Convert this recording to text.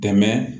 Dɛmɛ